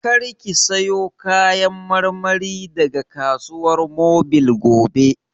Kar ki sayo Kayan marmari daga Kasuwar Mobil gobe!